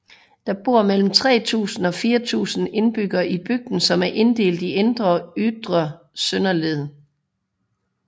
Der bor mellem 3000 og 4000 indbyggere i bygden som er inddelt i Indre og Ytre Søndeled